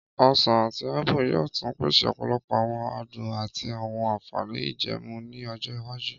Ọsan ati apu yoo tun pese ọpọlọpọ awọn adun ati awọn anfani ijẹẹmu ni ọjọ iwaju.